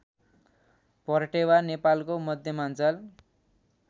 पर्टेवा नेपालको मध्यमाञ्चल